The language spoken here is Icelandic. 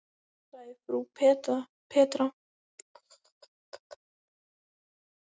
sagði frú Petra.